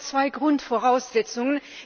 Es gibt aber zwei Grundvoraussetzungen.